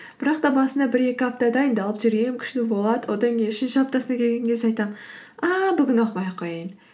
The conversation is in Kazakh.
бірақ та басында бір екі апта дайындалып жүремін күшті болады одан кейін үшінші аптасына келген кезде айтамын ааа бүгін оқымай ақ қояйын